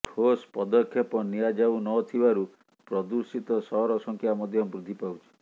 ଠୋସ୍ ପଦକ୍ଷେପ ନିଆଯାଉନଥିବାରୁ ପ୍ରଦୂଷିତ ସହର ସଂଖ୍ୟା ମଧ୍ୟ ବୃଦ୍ଧି ପାଉଛି